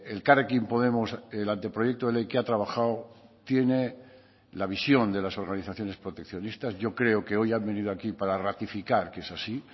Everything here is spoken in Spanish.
elkarrekin podemos el anteproyecto de ley que ha trabajado tiene la visión de las organizaciones proteccionistas yo creo que hoy han venido a aquí para ratificar que es así